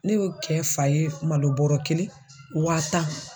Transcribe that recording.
Ne y'o kɛ fa ye malo bɔrɔ kelen wa tan